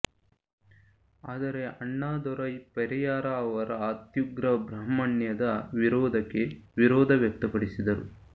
ಆದರೆ ಅಣ್ಣಾದೊರೈ ಪೆರಿಯಾರ ಅವರ ಅತ್ಯುಗ್ರ ಬ್ರಹ್ಮಾಣ್ಯದ ವಿರೋಧಕೆ ವಿರೋಧ ವ್ಯಕ್ತಪಡಿಸಿದರು